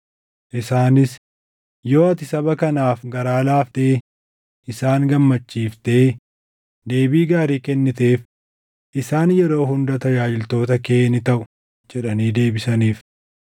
Isaanis, “Yoo ati saba kanaaf garaa laaftee isaan gammachiiftee deebii gaarii kenniteef, isaan yeroo hunda tajaajiltoota kee ni taʼu” jedhanii deebisaniif.